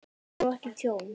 Tjón og ekki tjón?